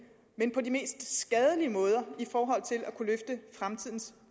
men på de mest skadelige måder i forhold til at kunne løfte fremtidens